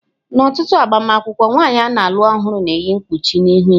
N'ọtụtụ agbamakwụkwọ, nwanyị a na-alụ ọhụrụ ga-eyi mkpuchi n'ihu ya.